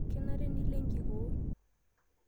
Kenare nilo enkikoo